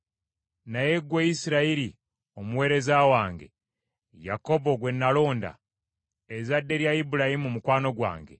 “Naye ggwe Isirayiri omuweereza wange, Yakobo gwe nalonda, ezzadde lya Ibulayimu mukwano gwange,